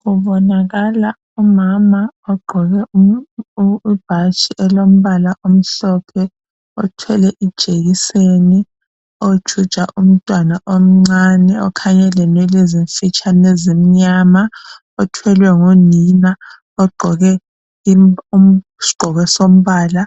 Kubonakala umama ogqoke ibhatshi elilo mbala omhlophe othwele ijekiseni ojuja umntwana omncane okhanya elenwele ezimfitshane ezincane ezimnyama othwele ngunina ogqoke isigqoko sombala